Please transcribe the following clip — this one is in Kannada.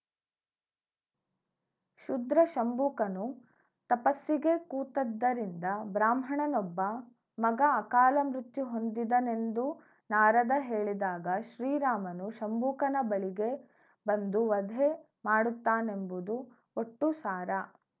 ಶೂದ್ರ ಶಂಬೂಕನು ತಪಸ್ಸಿಗೆ ಕೂತದ್ದರಿಂದ ಬ್ರಾಹ್ಮಣನೊಬ್ಬ ಮಗ ಅಕಾಲ ಮೃತ್ಯು ಹೊಂದಿದನೆಂದು ನಾರದ ಹೇಳಿದಾಗ ಶ್ರೀ ರಾಮನು ಶಂಬೂಕನ ಬಳಿಗೆ ಬಂದು ವಧೆ ಮಾಡುತ್ತಾನೆಂಬುದು ಒಟ್ಟು ಸಾರ